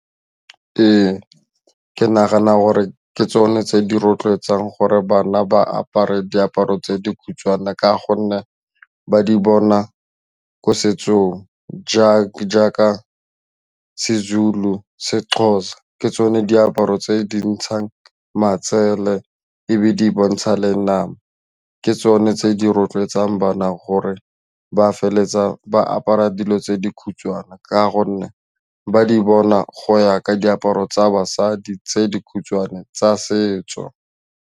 Ee, ke nagana gore ke tsone tse di rotloetsang gore bana ba apare diaparo tse dikhutshwane ka gonne ba di bona ko setsong jaaka jaaka sezulu, sexhosa ke tsone diaparo tse di ntshang matsele ebe di bontsha le nama ke tsone tse di rotloetsang bana gore ba feleletsa ba apara dilo tse dikhutshwane ka gonne ba di bona go ya ka diaparo tsa basadi tse dikhutshwane tsa setso.